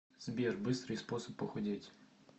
сбер быстрый способ похудеть